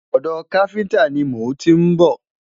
odò kafinta ní mọ n tí n bó